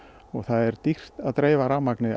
og það er dýrt að dreifa rafmagni